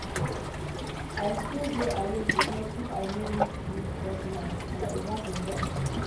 I still dey awake because if I no meet dis deadline my oga go vex.